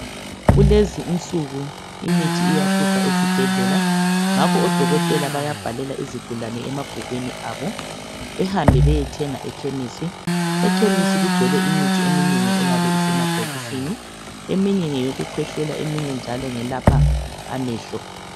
Kulezinsuku imithi iyahlupha ezibhedlela ngakho odokotela bayabhalela izigulane emabhukwini abo behambe beyethenga ekhemisi. Ekhemisi kugcwele imithi eminengi eyabe isemabhokisini. Eminye ngeyokukhwehlela eminye njalo ngelapha amehlo.